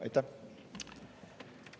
Aitäh!